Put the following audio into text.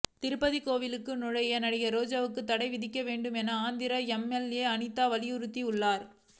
திருப்பதி கோவிலுக்குள் நுழைய நடிகை ரோஜாவுக்கு தடை விதிக்க வேண்டும் என ஆந்திர எம்எல்ஏ அனிதா வலியுறுத்தி உள்ளார்